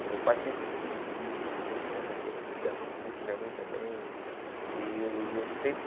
E meu pai sempre gostou de música, sempre teve essa coisa de ligação com música, minha mãe também. E eu e eu sempre